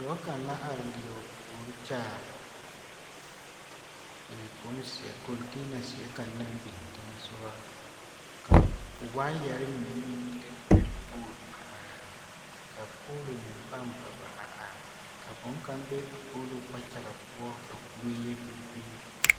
Dɔɔ kaŋ la are leɛ o puori kyaare bonzeɛ kɔnteena zeɛ kaŋ naŋ biŋ teŋɛ sogɔ ka waayɛre mine meŋ lere lere pooli a are a be ka poolo meŋ pãã ba ba a are are ka boŋkaŋ be a poolo kpakyaga poɔ ka kuree yɛ vili-vili.